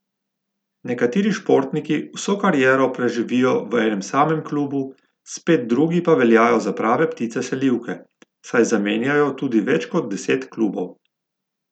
Nekateri športniki vso kariero preživijo v enem samem klubu, spet drugi pa veljajo za prave ptice selivke, saj zamenjajo tudi več kot deset klubov.